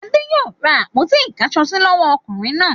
Adé yòó ra àpótí ìkáṣọsí lọ́wọ́ ọkùnrin náà.